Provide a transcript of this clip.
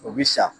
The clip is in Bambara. O bi sa